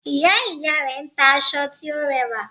Ìya ìya rè n ta aṣọ tí ó rẹwà